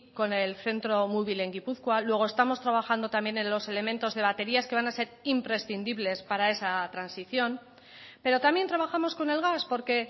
con el centro mubil en gipuzkoa luego estamos trabajando también en los elementos de baterías que van a ser imprescindibles para esa transición pero también trabajamos con el gas porque